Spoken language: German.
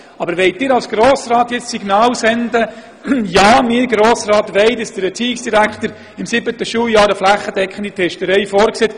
Aber wollen Sie als Grosser Rat jetzt ein solches Signal senden und wünschen, dass der Erziehungsdirektor im siebten Schuljahr einen flächendeckenden Test vorsieht?